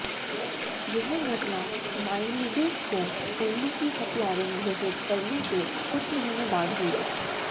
यह घटना माइलीडिस को उल्लू की हत्यारिन घोषित करने के छह महीने बाद हुई